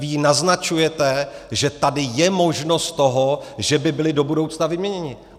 Vy jí naznačujete, že tady je možnost toho, že by byli do budoucna vyměněni.